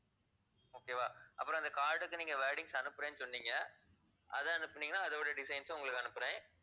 okay வா அப்புறம் அந்த card க்கு நீங்க wordings அனுப்புறேன்னு சொன்னீங்க அதை அனுப்புனீங்கன்னா அதோட designs உம் உங்களுக்கு அனுப்புறேன்.